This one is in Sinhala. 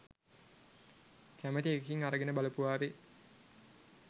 කැමති එකකින් අරගෙන බලපුවාවේ.